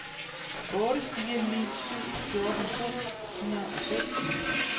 otte fire ni syv fjorten to hundrede og sytten